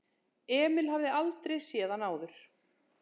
Emil hafði aldrei séð hann áður.